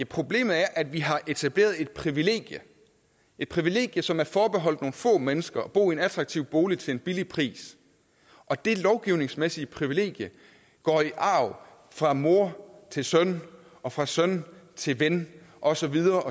problemet er at vi har etableret et privilegium et privilegium som er forbeholdt nogle få mennesker nemlig at bo i en attraktiv bolig til en billig pris og det lovgivningsmæssige privilegium går i arv fra mor til søn og fra søn til ven og så videre